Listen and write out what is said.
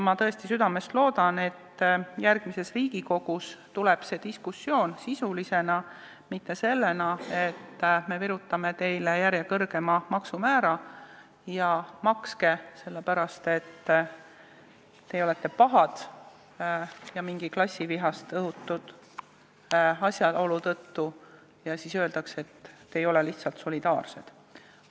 Ma tõesti südamest loodan, et järgmises Riigikogus tekib see diskussioon sisulisena, mitte sellisena, et me virutame teile jälle kõrgema maksumäära ja makske, sest te olete pahad, ja klassivihast õhutatuna öeldakse, et te ei ole lihtsalt solidaarsed.